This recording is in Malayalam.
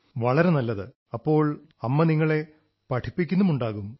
സബാഷ് അപ്പോൾ അമ്മ നിങ്ങളെ പഠിപ്പിക്കുന്നുമുണ്ടാവും